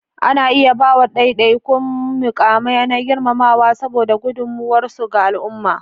Ana iya ba wa ɗaiɗaikun muƙamai na girmamawa saboda gudunmuwarsu ga al'umma.